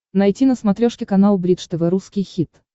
найти на смотрешке канал бридж тв русский хит